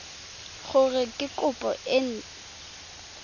gore ke kopo e nt